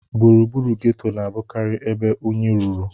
Gburugburu geto na-abụkarị ebe unyi ruru.